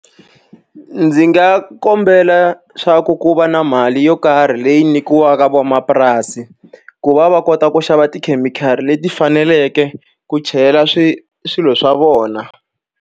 Ndzi nga kombela leswaku ku va na mali yo karhi leyi nyikiwaka van'wamapurasi, ku va va kota ku xava tikhemikhali leti faneleke ku chela swilo swa vona.